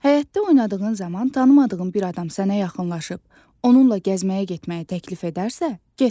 Həyətdə oynadığın zaman tanımadığın bir adam sənə yaxınlaşıb, onunla gəzməyə getməyi təklif edərsə, getmə.